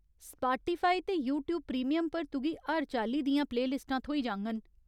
Spotify ते YouTube Premium पर तुगी हर चाल्ली दियां प्लेलिस्टां थ्होई जाङन।